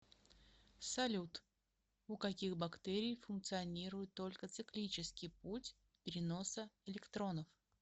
салют у каких бактерий функционирует только циклический путь переноса электронов